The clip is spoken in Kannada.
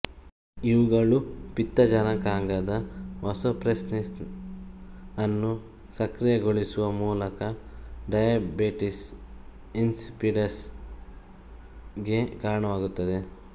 ಇವುಗಳು ಪಿತ್ತಜನಕಾಂಗದ ವಾಸೋಪ್ರೆಸ್ಸಿನೆಸ್ ಅನ್ನು ಸಕ್ರಿಯಗೊಳಿಸುವ ಮೂಲಕ ಡಯಾಬಿಟಿಸ್ ಇನ್ಸಿಪಿಡಸ್ ಗೆ ಕಾರಣವಾಗುತ್ತದೆ